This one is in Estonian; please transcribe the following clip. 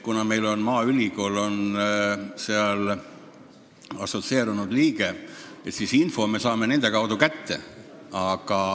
Kuna meil on maaülikool assotsieerunud liige, siis me saame info nende kaudu kätte.